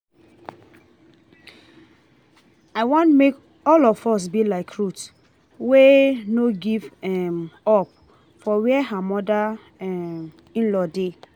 I want make all of us be like Ruth wey no give um up for where her mother um in law dey